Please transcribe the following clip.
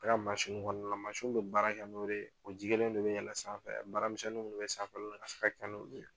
Ne ka kɔnɔna na mɛ baara kɛ n'o de ye, o ji kelen de bɛ yɛlɛn sanfɛ baramisɛnnin minnu bɛ sanfɛla la, a bi se ka kɛ n'olu ye.